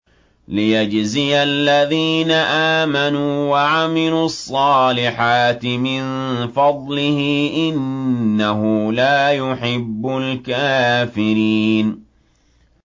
لِيَجْزِيَ الَّذِينَ آمَنُوا وَعَمِلُوا الصَّالِحَاتِ مِن فَضْلِهِ ۚ إِنَّهُ لَا يُحِبُّ الْكَافِرِينَ